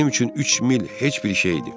Mənim üçün üç mil heç bir şeydir.